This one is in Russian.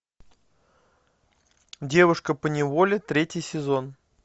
девушка поневоле третий сезон